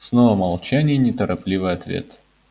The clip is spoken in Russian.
снова молчание и неторопливый ответ